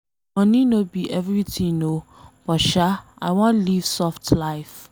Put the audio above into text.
Money no be everything oo, but sha I wan leave soft life.